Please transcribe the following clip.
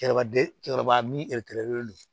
Cɛkɔrɔba den cɛkɔrɔba min don